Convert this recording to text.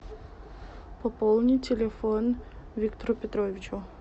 пополни телефон виктору петровичу